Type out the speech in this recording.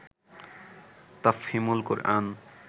Tafhimul Quran